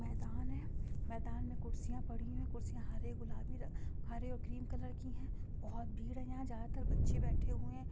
मैदान है| मैदान मे कुर्सिया पड़ी हुई है| कुर्सिया हरे गुलाबी रंग हरे और क्रीम कलर की है| बहुत भीड़ है| यह ज्यादातर बच्चे बैठे हुए है।